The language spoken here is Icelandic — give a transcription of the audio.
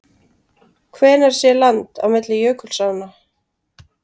Hvenær sé land á milli jökulsánna?